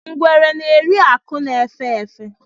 Ngwere na-eri akụ̀ na-efé efé.